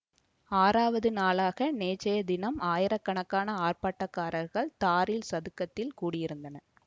ஆறாவது நாளாக நேற்றைய தினம் ஆயிரக்கணக்கான ஆர்ப்பாட்டக்காரர்கள் தாரிர் சதுக்கத்தில் கூடியிருந்தனர்